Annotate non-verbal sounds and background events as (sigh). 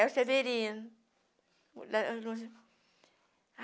É o Severino. (unintelligible)